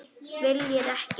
Viljir ekki.